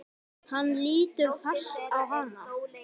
Hann lítur fast á hana.